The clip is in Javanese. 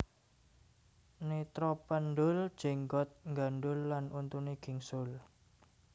Netra pendhul jenggot nggandhul lan untune gingsul